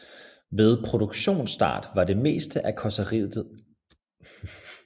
Ved produktionsstart var det meste af karrosseriet af stål med elementer af aluminium